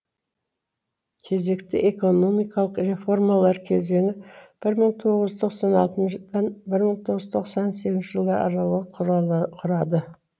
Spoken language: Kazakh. кезекті экономикалық реформалар кезеңі бір мың тоғыз жүз тоқсан алтыншы жылдан бір мың тоғыз жүз тоқсан сегіз жылдар аралығы құрады